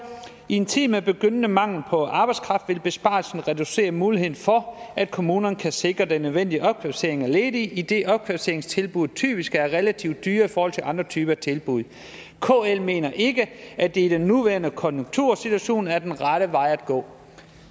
i en tid med begyndende mangel på arbejdskraft vil besparelsen reducere mulighederne for at kommuner kan sikre den nødvendige opkvalificering af ledige idet opkvalificeringstilbud typisk er relativ dyrere i forhold til andre typer af tilbud kl mener ikke at det i den nuværende konjunktursituation er den rette vej at gå